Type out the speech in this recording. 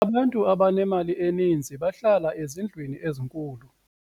abantu abanemali eninzi bahlala ezindlwini ezinkulu